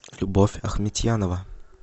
любовь ахметьянова